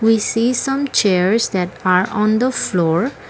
We see some chairs that are on the floor.